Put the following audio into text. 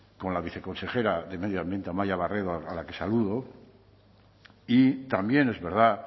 con la viceconsejera de medio ambiente amaia barredo a la que saludo y también es verdad